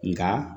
Nka